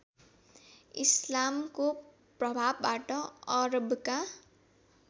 इस्लामको प्रभावबाट अरबका